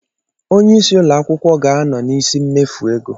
Onye isi ụlọ akwụkwọ ga-anọ n'isi mmefu ego.